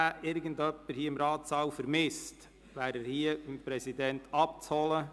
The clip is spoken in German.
Wenn irgendjemand hier im Ratssaal einen Stick vermisst, kann er ihn hier beim Präsidenten abholen.